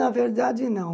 Na verdade, não.